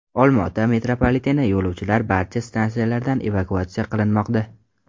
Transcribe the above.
Olmaota metropoliteni yo‘lovchilari barcha stansiyalardan evakuatsiya qilinmoqda.